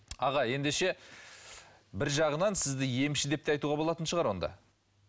аға ендеше бір жағынан сізді емші деп те айтуға болатын шығар онда